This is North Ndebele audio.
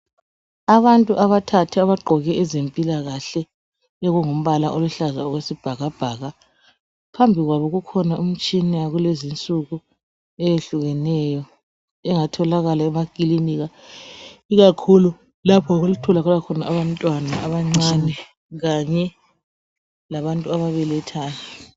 Abantu abathathu abagqoke ezempilakahle okungumbala oluhlaza okwesibhakabhaka. Phambi kwabo kukhona imtshina yakulezinsuku eyehlukeneyo engatholakala emakilinika, ikakhulu lapho okutholakala khona abantwana abancane kanye labantu ababelethayo.